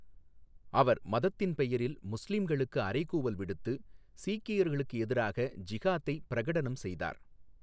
அவர் மதத்தின் பெயரில் முஸ்லிம்களுக்கு அறைகூவல் விடுத்து, சீக்கியர்களுக்கு எதிராக ஜிஹாதை பிரகடனம் செய்தார்.